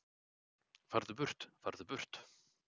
Farðu burt, farðu burt.